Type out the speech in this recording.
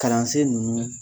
Kalansen nunnu